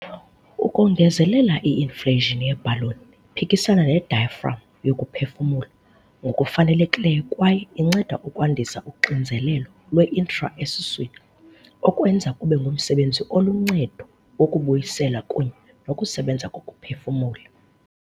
Ukongezelela, i-inflation ye-bhaloni iphikisana ne-diaphragm yokuphefumula ngokufanelekileyo kwaye inceda ukwandisa uxinzelelo lwe-intra-esiswini, okwenza kube ngumsebenzi oluncedo wokubuyisela kunye nokusebenza kokuphefumula.